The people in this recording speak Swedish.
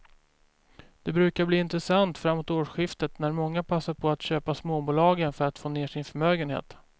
De brukar bli intressanta framåt årsskiftet när många passar på att köpa småbolagen för att få ner sin förmögenhet.